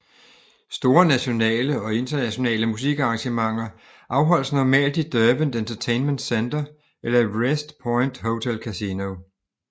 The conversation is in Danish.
Store nationale og internationale musikarrangementer afholdes normalt i Derwent Entertainment Centre eller i Wrest Point Hotel Casino